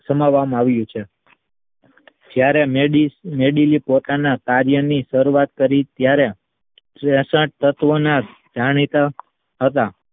સામાવામાં આવ્યું છે. જયારે મેડીલે પોતાના કાર્યની શરૂઆત કરી ત્યારે તત્વોના જાણીતા હતા